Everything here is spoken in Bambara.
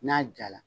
N'a jala